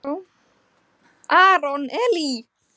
Aron Elí.